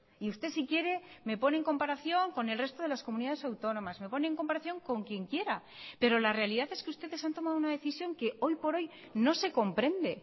y usted si quiere me pone en comparación con el resto de las comunidades autónomas me pone en comparación con quien quiera pero la realidad es que ustedes han tomado una decisión que hoy por hoy no se comprende